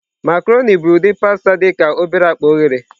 Macroni bụ ụdị pasta dị ka obere akpa oghere.